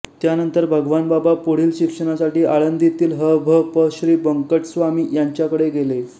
त्यानंतर भगवानबाबा पुढील शिक्षणासाठी आळंदीतील ह भ प श्री बंकट स्वामी यांच्याकडे गेले